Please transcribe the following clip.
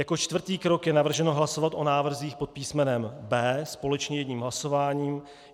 Jako čtvrtý krok je navrženo hlasovat o návrzích pod písmenem B společně jedním hlasováním.